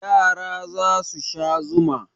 Yara za su sha zuma.